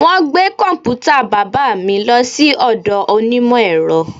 Wọn gbé kọ̀m̀pútà bàbà mi lọ sí ọ̀dọ̀ onímọ̀ ẹ̀rọ